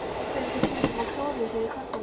spurðu þeir stundum og klóruðu sér í kollinum.